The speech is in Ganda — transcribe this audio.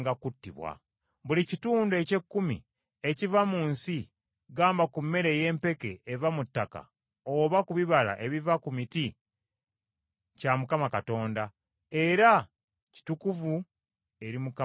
“Buli kitundu eky’ekkumi ekiva mu nsi, gamba ku mmere ey’empeke eva mu ttaka, oba ku bibala ebiva ku miti, kya Mukama Katonda, era kitukuvu eri Mukama Katonda.